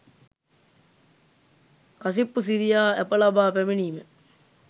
කසිප්පු සිරියා ඇප ලබා පැමිණීම